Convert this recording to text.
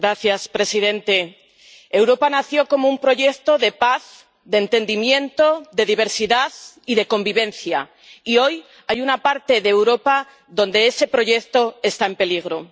Señor presidente, Europa nació como un proyecto de paz, de entendimiento, de diversidad y de convivencia, y hoy hay una parte de Europa donde ese proyecto está en peligro.